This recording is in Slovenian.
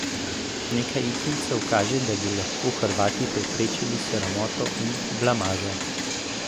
Nekaj indicev kaže, da bi lahko Hrvati preprečili sramoto in blamažo.